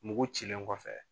Mugu cilen kɔfɛ.